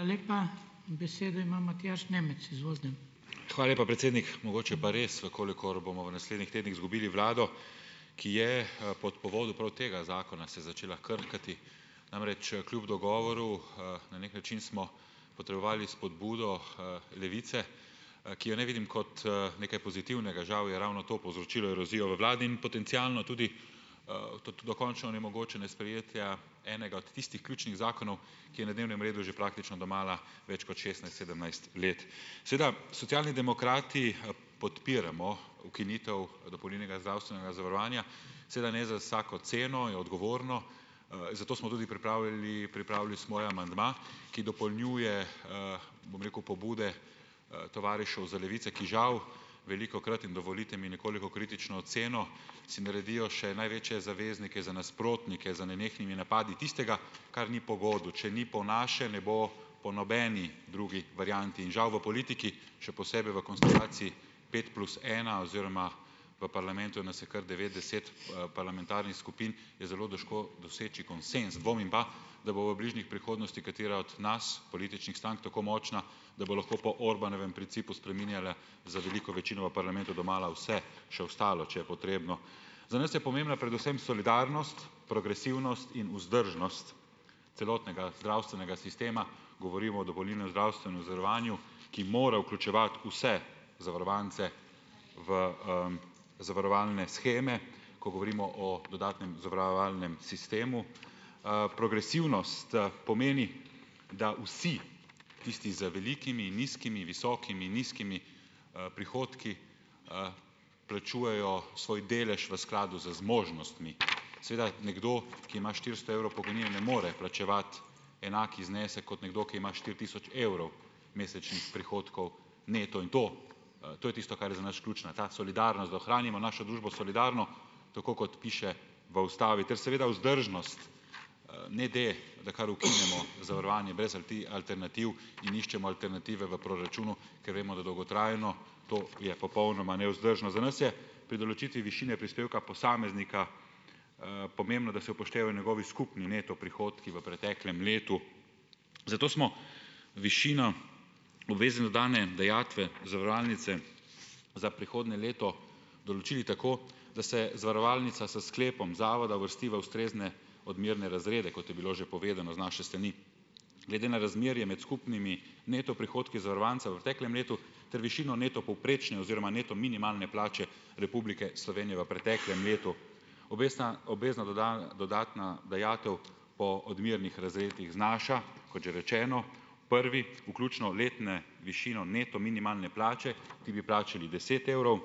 Hvala lepa, predsednik. Mogoče pa res, v kolikor bomo v naslednjih tednih izgubili vlado, ki je, pod povodu prav tega zakona, se začela krhati. Namreč, kljub dogovoru, na neki način smo potrebovali spodbudo, Levice, ki je ne vidim kot, nekaj pozitivnega. Žal je ravno to povzročilo erozijo v vladi in potencialno tudi, dokončno onemogočenje sprejetja enega od tistih ključnih zakonov, ki je na dnevnem redu že praktično domala več kot šestnajst, sedemnajst let. Seveda, Socialni demokrati, podpiramo ukinitev dopolnilnega zdravstvenega zavarovanja, seveda ne za vsako ceno, je odgovorno, zato smo tudi pripravili pripravili svoj amandma, ki dopolnjuje, bom rekel pobude tovarišev z Levice, ki žal velikokrat, in dovolite mi, nekoliko kritično oceno si naredijo še največje zaveznike za nasprotnike z nenehnimi napadi tistega, kar ni po godu, če ni po naše, ne bo po nobeni drugi varianti, in žal v politiki, še posebej v konstelaciji pet plus ena, oziroma v parlamentu nas je kar devet, deset, parlamentarnih skupin, je zelo težko doseči konsenz, dvomim pa, da bo v bližnjih prihodnosti katera od nas političnih strank tako močna, da bo lahko po Orbánovem principu spreminjala z veliko večino v parlamentu domala vse, še ostalo, če je potrebno. Za nas je pomembna predvsem solidarnost, progresivnost in vzdržnost celotnega zdravstvenega sistema, govorimo o dopolnilnem zdravstvenem zavarovanju, ki mora vključevati vse zavarovance v, zavarovalne sheme, ko govorimo o dodatnem zavarovalnem sistemu. Progresivnost pomeni, da vsi, tisti z velikimi, nizkimi, visokimi, nizkimi, prihodki, plačujejo svoj delež v skladu z zmožnostmi. Seveda, nekdo, ki ima štiristo evrov pokojnine, ne more plačevati enak znesek kot nekdo, ki ima štiri tisoč evrov mesečnih prihodkov neto. In to, to je tisto, kar je za nas ključno, ta solidarnost, da ohranimo našo družbo solidarno, tako kot piše v ustavi, ter seveda vzdržnost, ne da da kar ukinemo zavarovanje brez alternativ in iščemo alternative v proračunu, ker vemo, da dolgotrajno to je popolnoma nevzdržno. Za nas je pri določitvi višine prispevka posameznika, pomembno, da se upoštevajo njegovi skupni neto prihodki v preteklem letu. Zato smo višino obvezne dodane dajatve zavarovalnice za prihodnje leto določili tako, da se zavarovalnica s sklepom zavoda uvrsti v ustrezne odmerne razrede, kot je bilo že povedano z naše strani, glede na razmerje med skupnimi neto prihodki zavarovancev v preteklem letu ter višino neto povprečne oziroma neto minimalne plače Republike Slovenije v preteklem letu. Obvesna obvezna dodatna dajatev po odmernih razredih znaša, kot že rečeno, prvi, vključno letne višino neto minimalne plače, ti bi plačali deset evrov,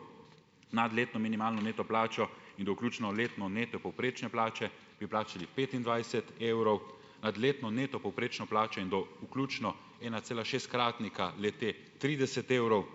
nad letno minimalno neto plačo in do vključno letno neto povprečne plače bi plačali petindvajset evrov, nad letno neto povprečno plačo in do vključno enacelašestkratnika le-te trideset evrov,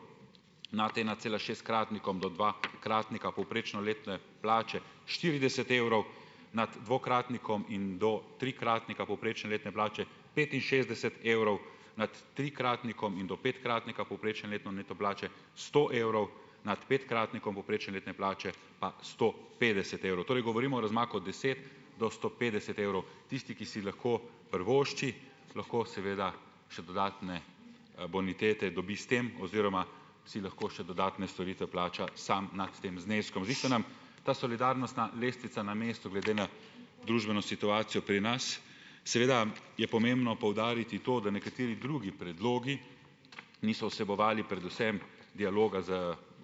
nad enacelašestkratnikom do dvakratnika povprečno letne plače štirideset evrov, nad dvokratnikom in do trikratnika povprečne letne plače petinšestdeset evrov, nad trikratnikom in do petkratnika povprečne letne neto plače sto evrov, nad petkratnikom povprečne letne plače pa sto petdeset evrov. Torej govorimo o razmaku od deset do sto petdeset evrov. Tisti, ki si lahko privošči, lahko seveda še dodatne bonitete dobi s tem oziroma si lahko še dodatne storitve plača samo nad tem zneskom. Zdi se nam ta solidarnostna lestvica na mestu glede na družbeno situacijo pri nas. Seveda je pomembno poudariti to, da nekateri drugi predlogi niso vsebovali predvsem dialoga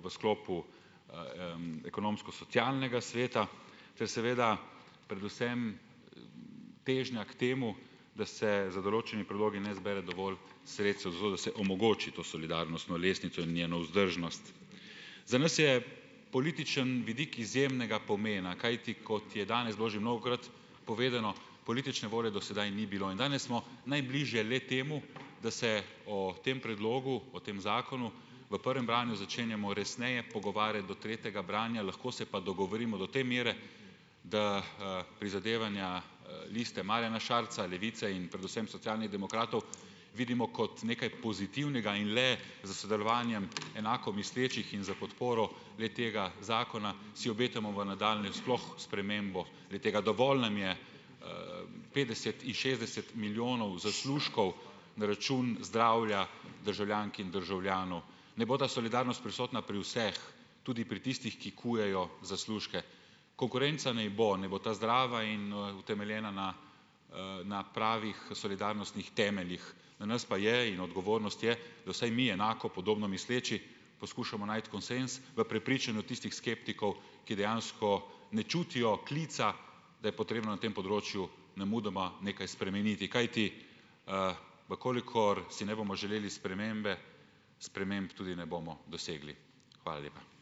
v sklopu, Ekonomsko-socialnega sveta, ter seveda predvsem težnja k temu, da se z določenimi predlogi ne zbere dovolj sredstev, zato da se omogoči to solidarnostno lestvico in njeno vzdržnost. Za nas je političen vidik izjemnega pomena, kajti kot je danes bilo že mnogokrat povedano, politične volje do sedaj ni bilo. In danes smo najbliže le-temu, da se o tem predlogu o tem zakonu v prvem branju začenjamo resneje pogovarjati do tretjega branja, lahko se pa dogovorimo do te mere, da, prizadevanja Liste Marjana Šarca, Levice in predvsem Socialnih demokratov vidimo kot nekaj pozitivnega in le s sodelovanjem enako mislečih in s podporo le-tega zakona si obetamo v nadaljnjem sploh spremembo. Le-tega dovolj nam je petdeset in šestdeset milijonov zaslužkov na račun zdravja državljank in državljanov. Naj bo ta solidarnost prisotna pri vseh, tudi pri tistih, ki kujejo zaslužke. Konkurenca naj bo, naj bo ta zdrava in, utemeljena na, na pravih solidarnostnih temeljih. Na nas pa je in odgovornost je, da vsaj mi enako, podobno misleči poskušamo najti konsenz v prepričanju tistih skeptikov, ki dejansko ne čutijo klica, da je potrebno na tem področju nemudoma nekaj spremeniti, kajti, v kolikor si ne bomo želeli spremembe, sprememb tudi ne bomo dosegli. Hvala lepa.